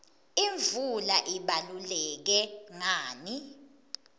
imvula ibaluleke ngani